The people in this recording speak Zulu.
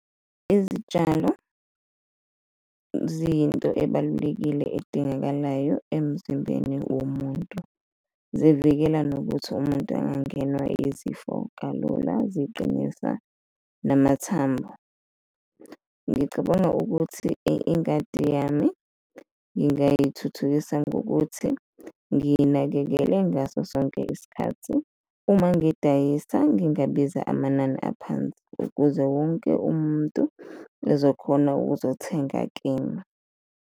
Izitshalo ziyinto ebalulekile edingakalayo emzimbeni womuntu, zivikela nokuthi umuntu angangenwa izifo kalula, ziqinisa namathambo. Ngicabanga ukuthi ingadi yami ngingayithuthukisa ngokuthi ngiyinakekele ngaso sonke isikhathi, uma ngidayisa ngingabiza amanani aphansi ukuze wonke umuntu ezokhona ukuzothenga kimi.